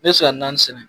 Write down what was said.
N bɛ se ka naani sɛnɛ